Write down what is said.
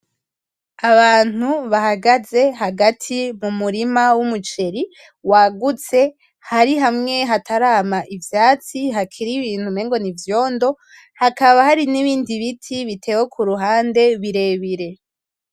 Abantu bahagaze hagati mumurima w'umuceri wagutse hari hamwe hatarama ivyatsi hakiri ibintu umengo n'ivyondo hakaba hari n'ibindi biti bitewe kuruhande birebire.